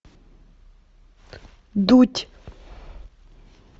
дудь